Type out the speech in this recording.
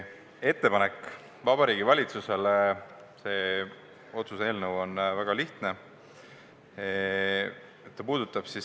Ettepanek Vabariigi Valitsusele – see otsuse eelnõu on väga lihtne.